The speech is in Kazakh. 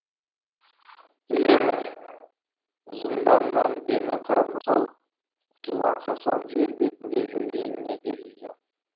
дегенмен зынданнан дені қарны сау құтылған хасан жер бетінде жүргеніне де риза